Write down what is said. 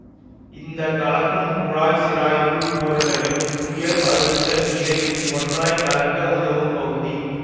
இந்த கலக்கும் குழாய் சிராய்ப்பு பொருளையும் உயர் அழுத்த நீரையும் ஒன்றாய் கலக்க உதவும் பகுதி